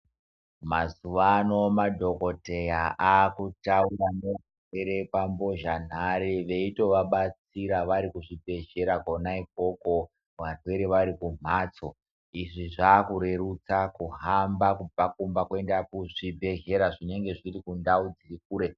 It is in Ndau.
Mazuva ano madhokodheya ava kutaura nevarwere pambozha nanhare veyito vabatsira vari pazvibhedhlera kona ikoko varwere vari kumbatso izvi zvava kurerutsa kuhamba kubva kumba nekuenda kuzvibhedhlera zvinenge zviri kure.